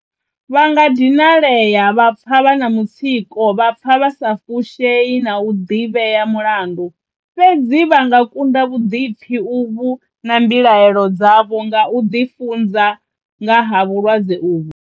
Vha nga dinalea, vha pfa vha na mutsiko, vha pfa vha sa fushei na u ḓivhea mulandu, fhedzi vha nga kunda vhuḓipfi uvhu na mbilaelo dzavho nga u ḓifunza nga ha vhulwadze uvhu.